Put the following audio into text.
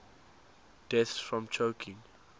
deaths from choking